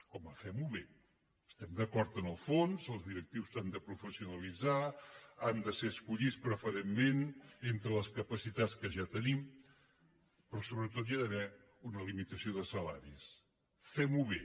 home fem ho bé estem d’acord en el fons els directius s’han de professionalitzar han de ser escollits preferentment entre les capacitats que ja tenim però sobretot hi ha d’haver una limitació de salaris fem ho bé